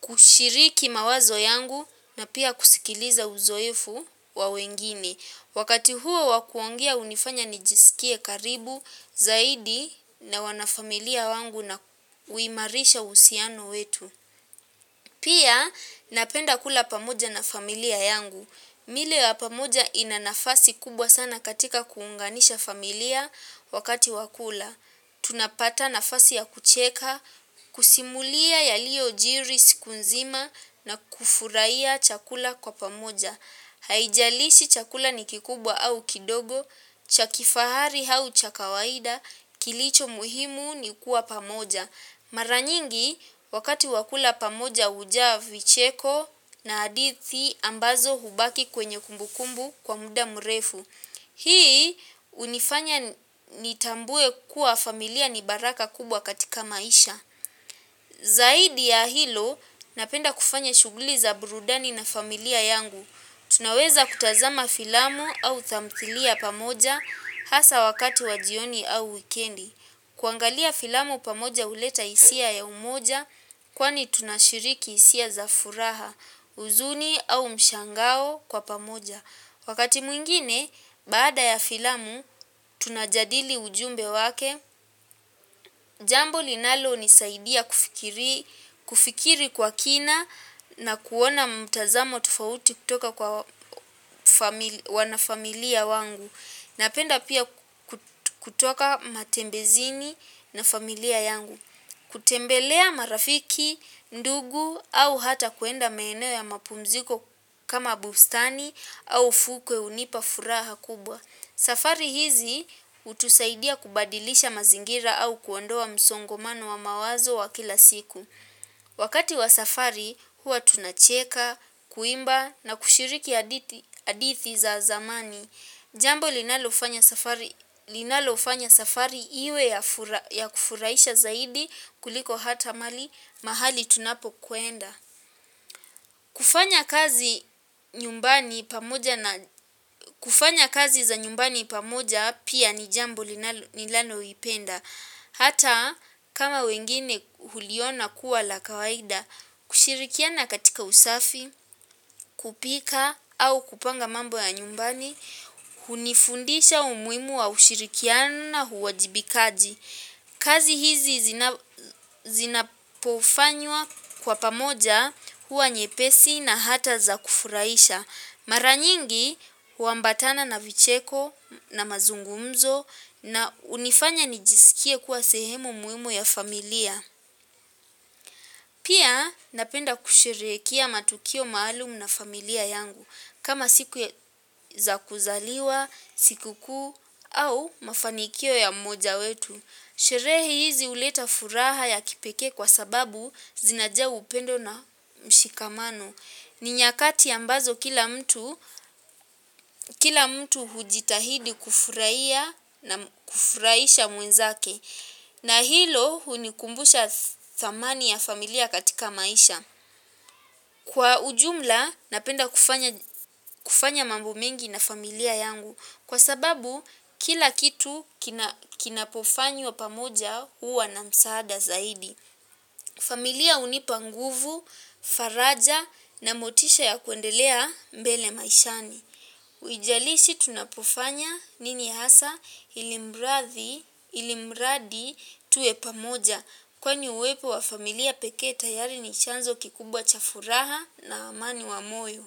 kushiriki mawazo yangu na pia kusikiliza uzoefu wa wengine. Wakati huo wa kuongea hunifanya nijiskie karibu zaidi na wanafamilia wangu na huimarisha uhusiano wetu. Pia napenda kula pamoja na familia yangu. Milo ya pamoja ina nafasi kubwa sana katika kuunganisha familia wakati wa kula. Tunapata nafasi ya kucheka, kusimulia yaliyojiri siku nzima na kufurahia chakula kwa pamoja. Haijalishi chakula ni kikubwa au kidogo, cha kifahari au cha kawaida, kilicho muhimu ni kuwa pamoja. Maranyingi, wakati wa kula pamoja hujaa vicheko na hadithi ambazo hubaki kwenye kumbukumbu kwa muda mrefu. Hii hunifanya nitambue kuwa familia ni baraka kubwa katika maisha. Zaidi ya hilo napenda kufanya shughuli za burudani na familia yangu. Tunaweza kutazama filamu au tamthilia pamoja hasa wakati wa jioni au wikendi. Kuangalia filamu pamoja huleta hisia ya umoja kwani tunashiriki hisia za furaha huzuni au mshangao kwa pamoja. Wakati mwingine baada ya filamu, tunajadili ujumbe wake, jambo linalonisaidia kufikiri kwa kina na kuona mtazamo tofauti kutoka kwa wanafamilia wangu. Napenda pia kutoka matembezini na familia yangu. Kutembelea marafiki, ndugu au hata kuenda maeneo ya mapumziko kama bustani au fukwe hunipa furaha kubwa. Safari hizi hutusaidia kubadilisha mazingira au kuondoa msongomano wa mawazo wa kila siku. Wakati wa safari huwa tunacheka, kuimba na kushiriki hadithi za zamani. Jambo linalofanya safari iwe ya kufurahisha zaidi kuliko hata mali mahali tunapokwenda. Kufanya kazi za nyumbani pamoja pia ni jambo ninaloipenda. Hata kama wengine huliona kuwa la kawaida, kushirikiana katika usafi, kupika au kupanga mambo ya nyumbani, hunifundisha umuhimu wa ushirikiana uwajibikaji. Kazi hizi zinapofanywa kwa pamoja huwa nyepesi na hata za kufurahisha. Mara nyingi huambatana na vicheko na mazungumzo na hunifanya nijiskie kuwa sehemu muhimu ya familia. Pia napenda kusherehekea matukio maalumu na familia yangu, kama siku za kuzaliwa, sikukuu au mafanikio ya mmoja wetu. Sherehe hizi huleta furaha ya kipekee kwa sababu zinajaa upendo na mshikamano. Ni nyakati ambazo kila mtu hujitahidi kufurahia na kufurahisha mwenzake. Na hilo hunikumbusha thamani ya familia katika maisha. Kwa ujumla napenda kufanya mambo mengi na familia yangu. Kwa sababu kila kitu kinapofanywa pamoja huwa na msaada zaidi. Familia hunipa nguvu, faraja na motisha ya kuendelea mbele maishani. Huijalishi tunapofanya nini hasa ilimradi tuwe pamoja. Kwani uwepo wa familia pekee tayari ni chanzo kikubwa cha furaha na amani wa moyo.